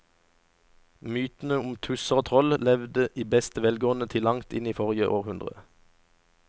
Mytene om tusser og troll levde i beste velgående til langt inn i forrige århundre.